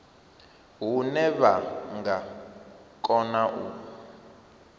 hune vha nga kona u